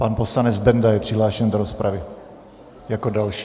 Pan poslanec Benda je přihlášen do rozpravy jako další.